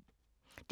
DR2